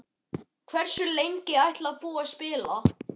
Hversu lengi ætlar þú að spila?